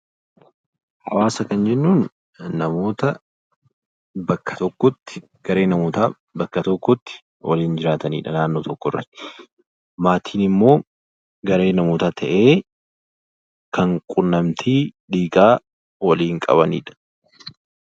Hawaasa jechuun namoota kan jennuun namoota bakka tokkotti garee namootaa waliin jiraatanidha. maatiin immoo garee namootaa ta'ee kan quunnamtii dhiigaa waliin qabanidha.